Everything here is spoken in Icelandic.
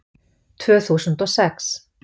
Tvö þúsund og sex